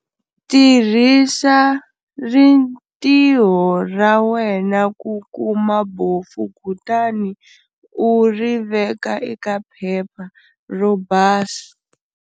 Tirhisa ritirho ra wena ku kama bofu kutani u ri veka eka phepha ro basa.